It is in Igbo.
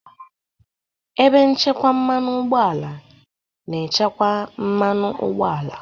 Ebe nchekwa mmanụ ụgbọala na-echekwa mmanụ ụgbọala.